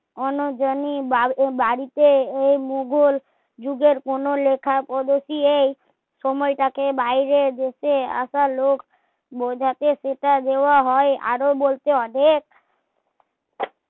অন্য জনের বা বাড়িতে এই মোগল যুগের কোনো লেখা এই উপদেশই এই সময় টা কেই বাইরে আসা লোক বোঝাতে সেটা দেওয়া হয় আরো বলতে অনেক